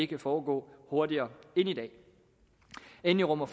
kan foregå hurtigere end i dag endelig rummer